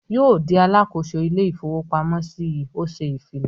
"Yóò di alákòóso ilé-ìfowópamọ́sí yìí!" Ó ṣè ìfilọ.